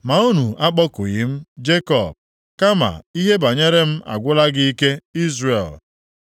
“Ma unu akpọkughị m, Jekọb, kama ihe banyere m agwụla gị ike, Izrel.